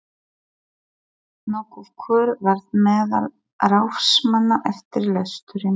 Nokkur kurr varð meðal ráðsmanna eftir lesturinn.